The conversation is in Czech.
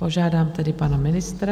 Požádám tedy pana ministra.